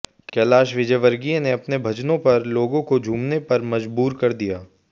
कैलाश विजयवर्गीय ने अपने भजनों पर लोगों को झूमने पर मजबूर कर दिया